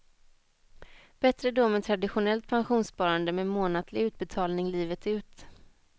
Bättre då med traditionellt pensionssparande med månatlig utbetalning livet ut.